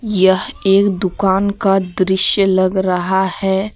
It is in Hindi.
यह एक दुकान का दृश्य लग रहा है।